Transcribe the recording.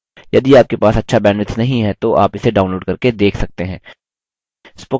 यदि आपके पास अच्छा bandwidth नहीं है तो आप इसे download करके देख सकते हैं